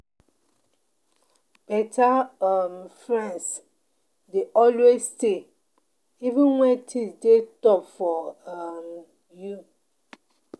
Beta um friends dey always stay even wen things dey tough for um you.